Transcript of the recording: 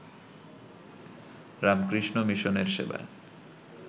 রামকৃষ্ণ মিশনের সেবায়